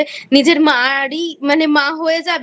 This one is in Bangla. নিজের মার-ই মানে মা হয়ে যাবে